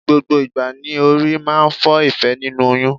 Gbogbo ìgbà ni orí máa ń fọ Ìfẹ́ nínú oyún.